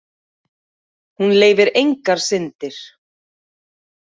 Hún leyfir engar syndir.